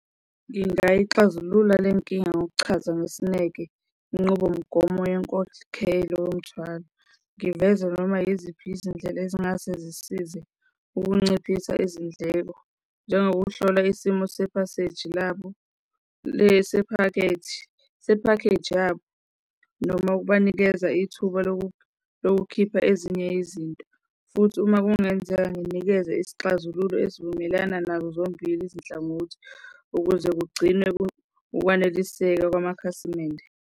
Ngingayixazulula le nkinga ngokuchaza ngesineke inqubomgomo yenkokhelo yomthwalo. Ngiveze noma yiziphi izindlela ezingase zisize ukunciphisa izindleko njengokuhlola isimo sephaseji labo lesi sephakethi, sephakheji yabo noma ukubanikeza ithuba lokukhipha ezinye izinto, futhi uma kungenzeka nginikeze isixazululo esivumelana nazo zombili izinhlangothi ukuze kugcinwe ukwaneliseka kwamakhasimende.